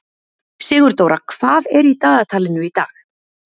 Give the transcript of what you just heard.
Sigurdóra, hvað er í dagatalinu í dag?